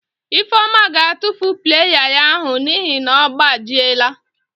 Ifeoma ga-atufu playa ya ahụ n'ihi na ọ gbajiela.